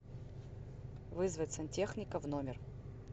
вызвать сантехника в номер